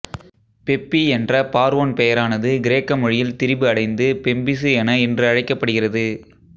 peppy என்ற பார்வோன் பெயரானது கிரேக்க மொழியில் திரிபு அடைந்து மெம்பிசு என இன்று அழைக்கப்படுகிறது